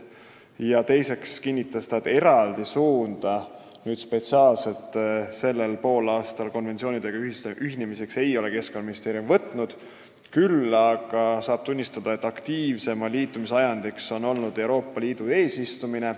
Samas ta kinnitas, et eraldi eesmärki just sellel poolaastal mitme konventsiooniga ühineda ei ole Keskkonnaministeerium seadnud, aga tuleb tunnistada, et aktiivsema liitumise ajendiks on olnud Euroopa Liidu eesistumine.